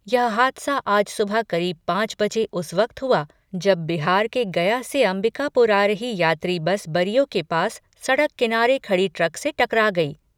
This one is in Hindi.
यह हादसा आज सुबह करीब पांच बजे उस वक्त हुआ, जब बिहार के गया से अंबिकापुर आ रही यात्री बस बरियो के पास सड़क किनारे खड़ी ट्रक से टकरा गई।